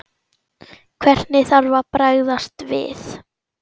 Hvernig þarf að bregðast við?